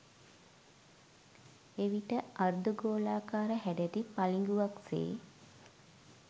එවිට අර්ධ ගෝලාකාර හැඩැති පළිඟුවක් සේ